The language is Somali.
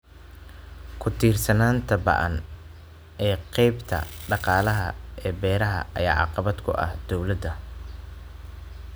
Ku-tiirsanaanta ba'an ee qaybta dhaqaalaha ee beeraha ayaa caqabad ku ah dawladda.